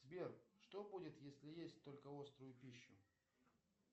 сбер что будет если есть только острую пищу